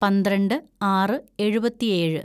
പന്ത്രണ്ട് ആറ് എഴുപത്തിയേഴ്‌